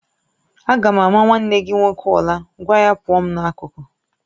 Aga m ama nwanne gị nwoke ula, gwa ya pụọ m n'akụkụ